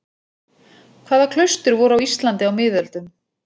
Hvaða klaustur voru á Íslandi á miðöldum?